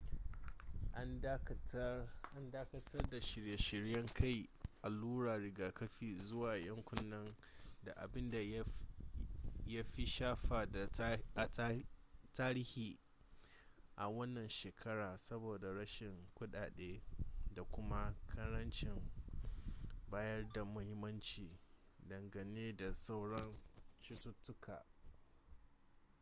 an dakatar da shirye-shiryen kai alluran rigakafi zuwa yankunan da abin ya fi shafa a tarihi a wannan shekara saboda rashin kuɗaɗe da kuma ƙarancin bayar da muhimmanci dangane da sauran cututtuka